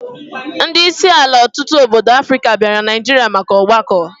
Ndi isi ala otutu obodo Africa biara Naijiria maka ogbako